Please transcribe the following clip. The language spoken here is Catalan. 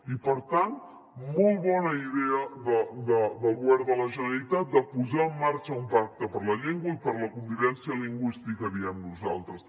i per tant molt bona idea del govern de la generalitat de posar en marxa un pacte per la llengua i per la convivència lingüística diem nosaltres